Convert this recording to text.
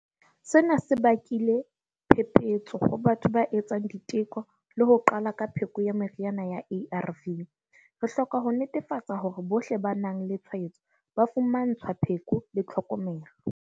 Sena se bakile phephetso ho batho ba etsang diteko le ho qala ka pheko ya meriana ya ARV. Re hloka ho netefatsa hore bohle ba nang le tshwaetso ba fumantshwa pheko le tlhokomelo.